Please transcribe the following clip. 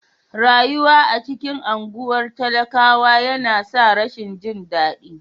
Rayuwa a cikin anguwan talakawa yana sa rashin jin dadi.